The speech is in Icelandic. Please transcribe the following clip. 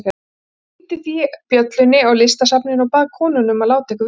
Ég hringdi því bjöllunni á Listasafninu og bað konuna um að láta ykkur vita.